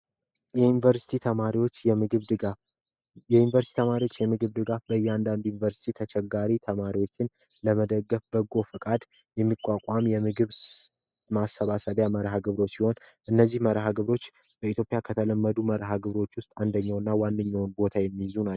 የዩንቨርሰቲ ተማሪዎች የምግብ ድጋፍ የተማሪዎች የምግብ ድጋፍ የዩኒቨርሲቲ ተማሪዎች የምግብ ላይ እያንዳንዱ ዩኒቨርስቲ ተቸጋሪ ተማሪዎችን ለመደገፍ በጎ ፈቃድ የሚቋቋም የምግብ ማሰባሰቢያ መርሃ ግብሮ ሲሆን እነዚህ መርሃ ግቦሮች በኢትዮጵያ ከተለመዱ መርሀግብሮች ውስጥ አንደኛውና ዋነኛውም ቦታ የሚይዙ ናቸው።